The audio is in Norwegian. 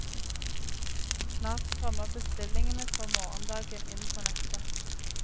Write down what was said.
Snart strømmer bestillingene for morgendagen inn på nettet.